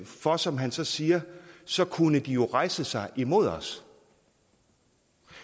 for som han så siger så kunne de jo rejse sig imod os